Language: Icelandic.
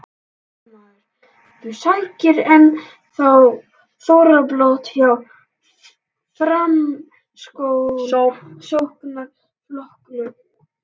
Fréttamaður: Þú sækir enn þá þorrablót hjá Framsóknarflokknum?